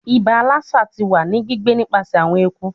Iba Lassa ti wa ni gbigbe nipasẹ awọn eku